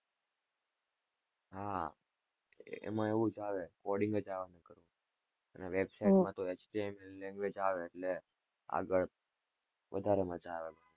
હા એમાં એવું જ આવે coding આગળ વધારે મજા આવે છે.